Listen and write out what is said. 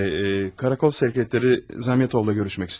Şey, karakol sekreterı Zamyotovla görüşmək istəyirəm.